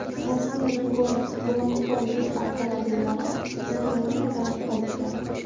Rossiyaning gumanitar yuk avtomobillari Ukrainadan qaytdi.